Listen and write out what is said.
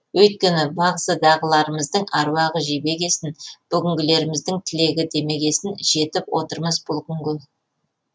өйткені бағзыдағыларымыздың аруағы жебегесін бүгінгілеріміздің тілегі демегесін жетіп отырмыз бұл күнге